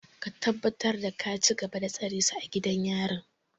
Ka tabbatar da ka cigaba da tsare su a gidan jarun!